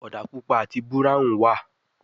òdà pupa àti Búráhùn wá.